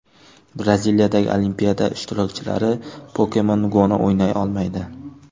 Braziliyadagi Olimpiada ishtirokchilari Pokemon Go‘ni o‘ynay olmaydi.